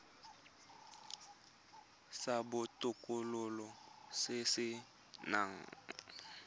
sa botokololo se se nang